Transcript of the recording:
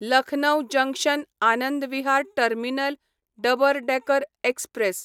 Lucknow junction Anand Vihar terminal double decker express